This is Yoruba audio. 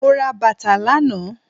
Mo ra bàtà lànáà